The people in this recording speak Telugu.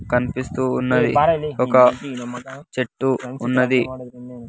కనిపిస్తూ ఉన్నది ఒక చెట్టు ఉన్నది.